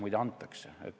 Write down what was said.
Muide, antakse.